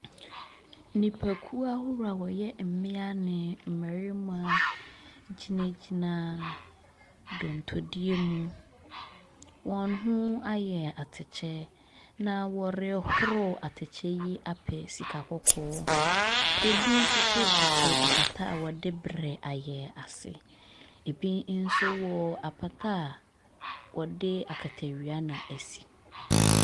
Nnipakuo ahodoɔ a wɔyɛ mmea ne mmarima gyinagyina dontodie mu. Wɔn ho ayɛ atɛkyɛ na wɔrehoro atɛkyɛ yi apɛ sika kɔkɔɔ. Ebi nso so tete apata a wɔde berɛ ayɛ ase. Ebi nso wɔ apata a wɔde akatawia na asi.